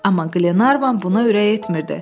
Amma Qlenarvan buna ürək etmirdi.